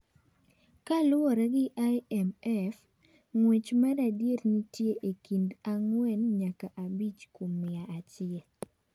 Kaluwore gi IMF, ng'wech maradiera nitie e kind ang'wen nyaka abich kuom mia achiel.